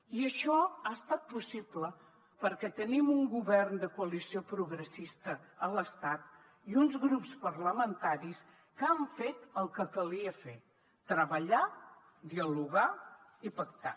i això ha estat possible perquè tenim un govern de coalició progressista a l’estat i uns grups parlamentaris que han fet el que calia fer treballar dialogar i pactar